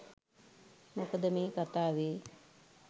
මොකද මේ කතාවේ